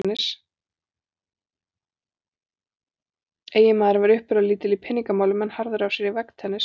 Eiginmaðurinn var uppburðalítill í peningamálum en harður af sér í veggtennis.